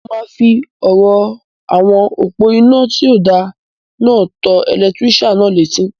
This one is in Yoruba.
Mo máa fi ọ̀rọ̀ àwọn òpó-inà tí o da náà tó ẹlẹtírísàn náà létí